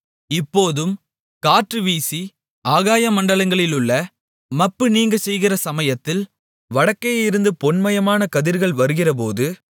இப்போதும் காற்று வீசி ஆகாய மண்டலங்களிலுள்ள மப்பு நீங்கச் செய்திருக்கிற சமயத்தில் வடக்கேயிருந்து பொன்மயமான கதிர்கள் வருகிறபோது